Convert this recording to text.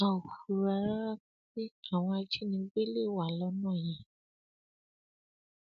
a ò fura rárá pé àwọn ajínigbé lè wà lọnà yẹn